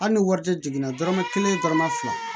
Hali ni wari tɛ jiginna dɔrɔmɛ kelen dɔrɔmɛ fila